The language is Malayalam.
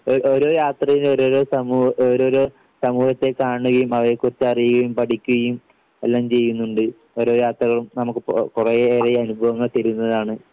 ഓ ഓരോ യാത്രയിലും ഓരോരോ സമൂഹ ഓരോരോ സമൂഹത്തെ കാണുകയും അവയെക്കുറിച്ച് അറിയുകയും പഠിക്കുകയും എല്ലാം ചെയ്യുന്നുണ്ട്. ഓരോ യാത്രകളും നമുക്ക് കുറേയേറെ അനുഭവങ്ങൾ തരുന്നതാണ്.